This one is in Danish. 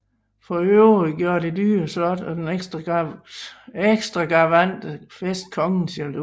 For øvrigt gjorde det dyre slot og den ekstragavante fest kongen jaloux